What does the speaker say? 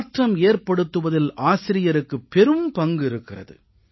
மாற்றம் ஏற்படுத்துவதில் ஆசிரியருக்குப் பெரும் பங்கு இருக்கிறது